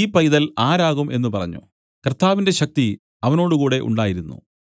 ഈ പൈതൽ ആരാകും എന്നു പറഞ്ഞു കർത്താവിന്റെ ശക്തി അവനോട് കൂടെ ഉണ്ടായിരുന്നു